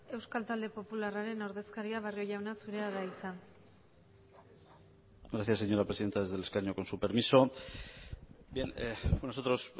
euskal talde popularraren ordezkaria barrio jauna zurea da hitza gracias señora presidenta desde el escaño con su permiso bien nosotros